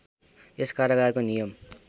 यस कारागारको नियम